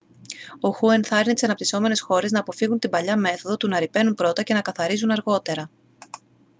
ο χου ενθάρρυνε τις αναπυσσόμενες χώρες «να αποφύγουν την παλιά μέθοδο του να ρυπαίνουν πρώτα και να καθαρίζουν αργότερα.»